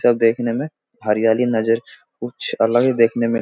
सब देखने में हरियाली नजर कुछ अलग ही देखने में --